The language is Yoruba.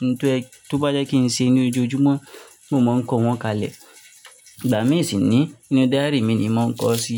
oun tó bá yẹ kí n ṣe ní ojoojúmọ́, mo máa ń kọ wọ́n kalẹ̀. Ìgbà mìí sì ni inú diary mi ni mo ń kọ sí.